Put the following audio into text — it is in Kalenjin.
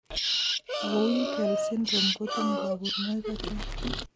Vohwinkel syndrome kotinye kaborunoik achon?